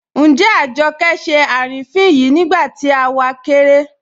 Njẹ́ Àjọkẹ́ ṣẹ́ arínifín yìí nígbàtí à wá kẹkẹ̀rẹ̀?